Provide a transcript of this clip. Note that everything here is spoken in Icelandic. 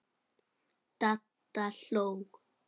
Dadda hló.